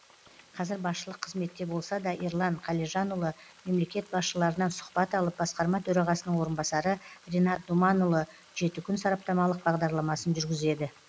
қазір басшылық қызметте болса да ерлан қалижанұлы мемлекет басшыларынан сұхбат алып басқарма төрағасының орынбасары ринат думанұлы жеті күн сараптамалық бағдарламасын жүргізеді